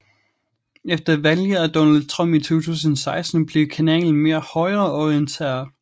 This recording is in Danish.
Efter valget af Donald Trump i 2016 blev kanalen mere højreorienteret